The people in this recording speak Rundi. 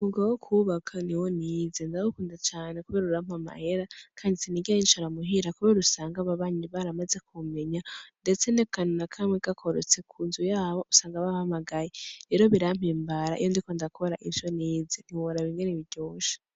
Umwuga wo kwubaka niwo nize. Ndawukunda cane kubera urampa amahera kandi sinigera nicara muhira kandi usanga ababanyi baramaze kumenya ndetse nakantu nakamwe gakorotse kunzu yabo ,usanga bampamagaye. Rero birampimbara iyo ndiko ndakora ico nize. Ntiworaba ingene biryoshe.